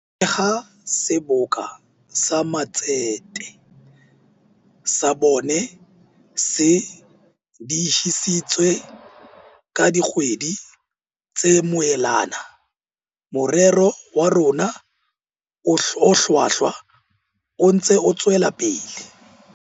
Le ha Seboka sa Matsete sa bone se diehisitswe ka dikgwedi tse moelana, morero wa rona o hlwahlwa o ntse o tswela pele.